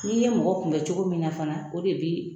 N'i ye mɔgɔ kunbɛ cogo min na fana o de bɛ